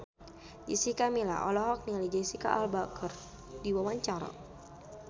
Jessica Milla olohok ningali Jesicca Alba keur diwawancara